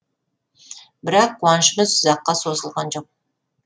бірақ қуанышымыз ұзаққа созылған жоқ